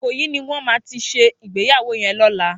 Ikoyi niwòn má ti sé igbéyàwó yèn lòlá